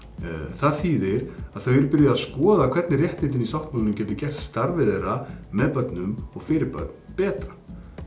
það þýðir að þau eru byrjuð að skoða hvernig réttindin í sáttmálanum geti gert starfið þeirra með börnum og fyrir börn betra